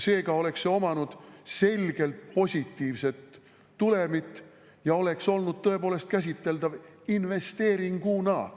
Seega oleks see omanud selgelt positiivset tulemit ja oleks olnud tõepoolest käsitletav investeeringuna.